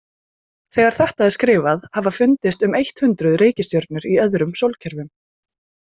Þegar þetta er skrifað hafa fundist um eitt hundruð reikistjörnur í öðrum sólkerfum.